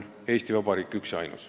Eesti Vabariik on üks ja ainus.